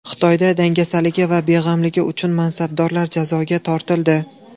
Xitoyda dangasaligi va beg‘amligi uchun mansabdorlar jazoga tortildi.